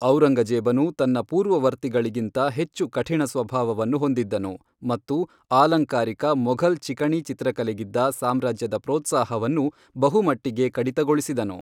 ಔರಂಗಜೇಬನು ತನ್ನ ಪೂರ್ವವರ್ತಿಗಳಿಗಿಂತ ಹೆಚ್ಚು ಕಠಿಣ ಸ್ವಭಾವವನ್ನು ಹೊಂದಿದ್ದನು, ಮತ್ತು ಆಲಂಕಾರಿಕ ಮೊಘಲ್ ಚಿಕಣಿಚಿತ್ರಕಲೆಗಿದ್ದ ಸಾಮ್ರಾಜ್ಯದ ಪ್ರೋತ್ಸಾಹವನ್ನು ಬಹುಮಟ್ಟಿಗೆ ಕಡಿತಗೊಳಿಸಿದನು.